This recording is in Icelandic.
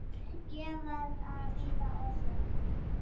Ég verð að bíða og sjá.